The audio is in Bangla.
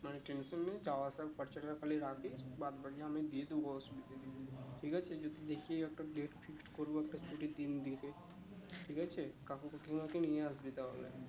মানে tension নেই যাওয়া আসার খরচাটা খালি রাখিস বাদ বাকি আমি দিয়ে দিবো অসুবিধে নেই যদি দেখি একটা date fixed করবো একটা ছুটির দিন দেখে ঠিক আছে কাকু কাকিমা কে নিয়ে আসবি তা হলে